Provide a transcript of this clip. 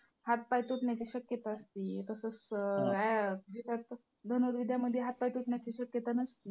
हातपाय तुटण्याची शक्यता असती. तसंच धनुर्विद्यामध्ये हातपाय तुटण्याची शक्यता नसती.